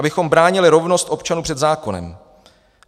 Abychom bránili rovnost občanů před zákonem.